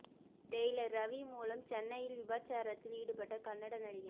Taylor Ravi மூலம் சென்னையில் விபச்சாரத்தில் ஈடுபட்ட கன்னட நடிகை